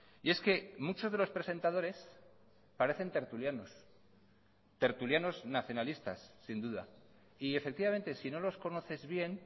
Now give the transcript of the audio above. y es que muchos de los presentadores parecen tertulianos tertulianos nacionalistas sin duda y efectivamente sino los conoces bien